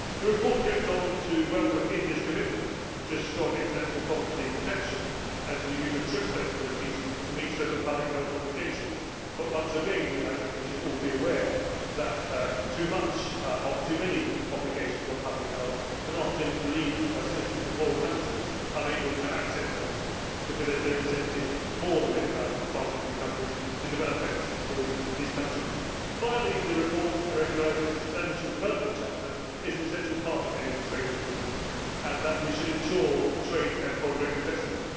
The report goes on to welcome India's commitment to strong intellectual property protection and to the use of TRIPS flexibilities to meet certain public health obligations. Once again, we should all be aware that too many obligations on public health can often leave citizens in poorer countries unable to access medicines, because there is no incentive for pharmaceutical companies to develop medicines for those countries. Finally, the report recognises that a substantial development chapter is an essential part of any trade agreement, and that we should ensure trade and foreign direct investment.